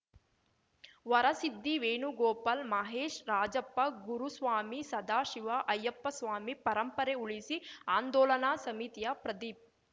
ವರಸಿದ್ಧಿ ವೇಣುಗೋಪಾಲ್‌ ಮಹೇಶ್‌ ರಾಜಪ್ಪ ಗುರುಸ್ವಾಮಿ ಸದಾಶಿವ ಅಯ್ಯಪ್ಪಸ್ವಾಮಿ ಪರಂಪರೆ ಉಳಿಸಿ ಆಂದೋಲನಾ ಸಮಿತಿಯ ಪ್ರದೀಪ್‌